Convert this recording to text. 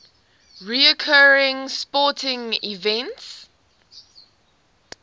recurring sporting events